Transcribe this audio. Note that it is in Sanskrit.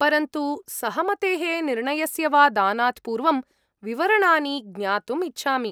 परन्तु सहमतेः निर्णयस्य वा दानात् पूर्वं विवरणानि ज्ञातुम् इच्छामि।